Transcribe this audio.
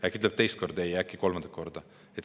Äkki ütleb teist korda ei, äkki ütleb ka kolmandat korda?